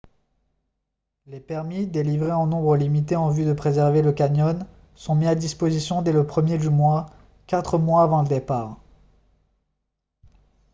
les permis délivrés en nombre limité en vue de préserver le canyon sont mis à disposition dès le premier du mois quatre mois avant le départ